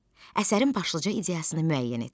Əsərin başlıca ideyasını müəyyən et.